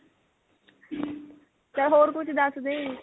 ਚੱਲ ਹੋਰ ਕੁੱਛ ਦਸਦੇ